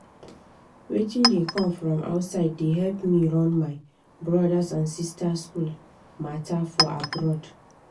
wetin dey come from outside dey help me run my brothers and sisters school matter for abroad.